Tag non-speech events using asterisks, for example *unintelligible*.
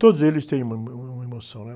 Todos eles têm uma, *unintelligible* uma emoção, né?